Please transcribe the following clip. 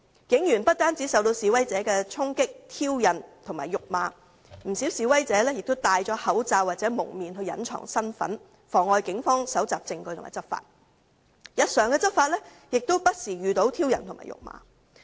警員不單受到示威者的衝擊、挑釁和辱罵，不少示威者更戴上口罩或蒙面來隱藏身份，妨礙警方搜集證據和執法，而警方在日常執法上亦不時遇到挑釁和辱罵。